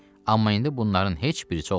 Amma indi bunların heç birisi olmadı.